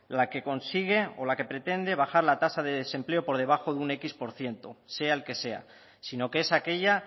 consigue o la que pretende bajar la tasa de desempleo por debajo de un décimo por ciento sea el que sea sino que es aquella